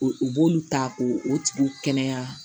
U b'olu ta ko o tigi kɛnɛya